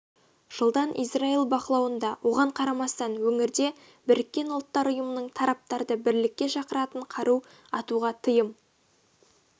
жылдан израиль бақылауында оған қарамастан өңірде біріккен ұлттар ұйымының тараптарды бірлікке шақыратын қару атуға тыйым